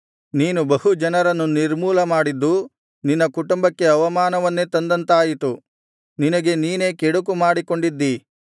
ನೀನು ಬಹು ಜನರನ್ನು ನಿರ್ಮೂಲ ಮಾಡಿದ್ದು ನಿನ್ನ ಕುಂಟುಂಬಕ್ಕೆ ಅವಮಾನವನ್ನೇ ತಂದಂತಾಯಿತು ನಿನಗೇ ನೀನೇ ಕೆಡುಕು ಮಾಡಿಕೊಂಡಿದ್ದೀ